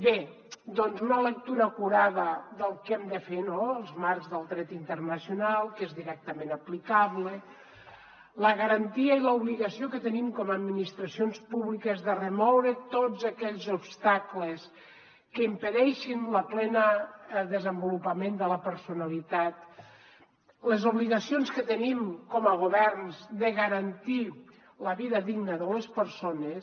bé doncs una lectura acurada del que hem de fer en els marcs del dret internacional que és directament aplicable la garantia i l’obligació que tenim com a administracions públiques de remoure tots aquells obstacles que impedeixin el ple desenvolupament de la personalitat les obligacions que tenim com a governs de garantir la vida digna de les persones